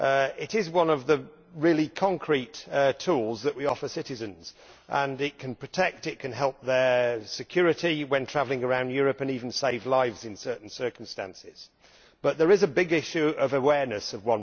It is one of the really concrete tools that we offer citizens and it can protect, it can help their security when travelling around Europe and even save lives in certain circumstances. But there is a big issue of awareness of